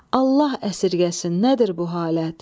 Allah əsirgəsin nədir bu halət?